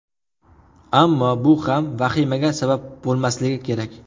Ammo bu ham vahimaga sabab bo‘lmasligi kerak.